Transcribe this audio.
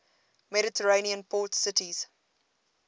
mediterranean port cities